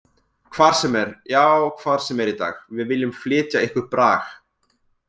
Hvar sem er, já hvar sem er í dag Við viljum flytja ykkur brag.